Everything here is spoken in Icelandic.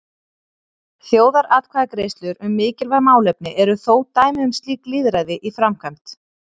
Þjóðaratkvæðagreiðslur um mikilvæg málefni eru þó dæmi um slíkt lýðræði í framkvæmd.